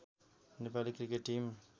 Nepali cricket team